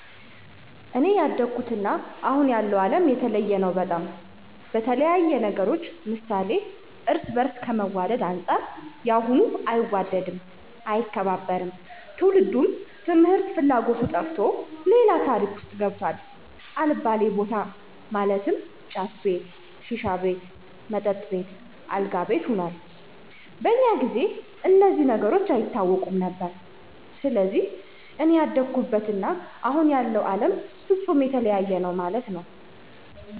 አኔ ያደኩበት እና አሁን ያለው አለም የተለያየ ነው በጣም፣ በተለያየ ነገሮች ምሳሌ እርስ በርስ ከመዋድ አንፃር ያሁኑ አይዋደድም፣ አይከባበርም፣ ትውልዱም ትምህርት ፍላጎቱ ጠፍቶ ሌላ ታሪክ ውስጥ ገብቷል አልባሌ በታ ማለትም ጫት ቤት፣ ሺሻ ቤት፣ መጠጥ ቤት፣ አልጋ ቤት ሁኗል። በኛ ጊዜ እነዚህ ነገሮች አይታወቁም ነበር። ሰለዚህ እኔ ያደኩበት እና አሁን ያለው አለም ፍፁም የተለያየ ነው መለት ነዉ።